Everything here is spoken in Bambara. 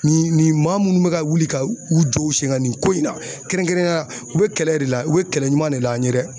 Nin nin maa munnu bɛ ka wili ka u jɔ u sen kan nin ko in na kɛrɛnkɛrɛnnenya la u bɛ kɛlɛ de la u bɛ kɛlɛ ɲuman de la an ye dɛ